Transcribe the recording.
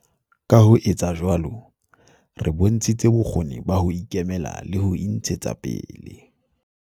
Ka ho etsa jwalo, re bontshitse bokgoni ba ho ikemela le ho intshetsa pele.